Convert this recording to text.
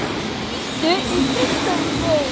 líttu í kringum þig